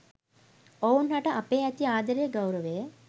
ඔවුන් හට අපේ ඇති ආදරය ගෞරවය